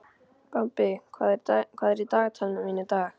Bambi, hvað er í dagatalinu mínu í dag?